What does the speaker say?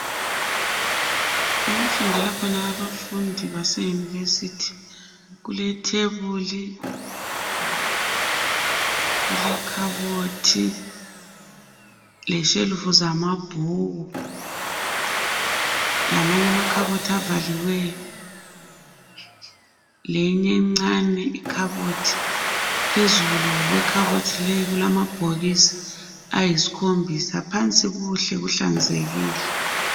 Okufundela khona abafundi base university. Kulethebuli, kule khabothi, leshelufu zamabhuku. Lamanye amakhabothi avaliweyo. Lenye encane ikhabothi. Phezulu kwekhabothi leyi, kulamabhokisi ayisikhombisa. Phansi kuhle, kuhlanzekile.